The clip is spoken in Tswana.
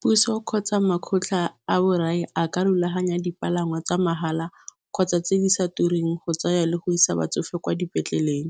Puso kgotsa makgotla a borai a ka rulaganya dipalangwa tsa mahala kgotsa tse di sa tureng go tsaya le go isa batsofe kwa dipetleleng,